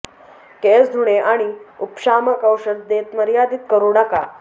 केस धुणे आणि उपशामक औषध देत मर्यादित करू नका